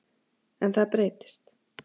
En það breytist.